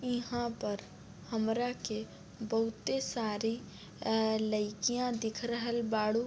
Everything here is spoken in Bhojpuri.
इहाँ पर हमरा के बहुते सारी आ लइकियाँ दिख रहल बारू।